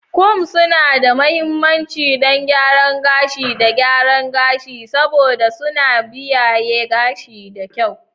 Combs suna da mahimmanci don gyaran gashi da gyaran gashi, saboda suna kiyaye gashi da kyau.